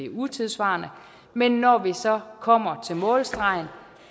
utidssvarende men når vi så kommer til målstregen